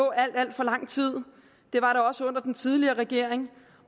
alt alt for lang tid det var der også under den tidligere regering